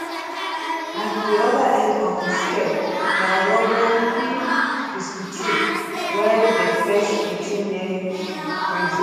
at di oda end of di scale na romain v 63 wey dey face 18 years in prison